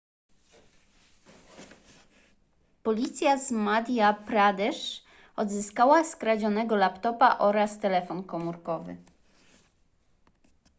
policja z madhya pradesh odzyskała skradzionego laptopa oraz telefon komórkowy